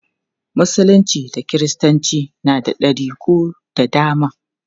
Musulunci da kiristanci na da ɗariku da dama.